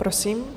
Prosím.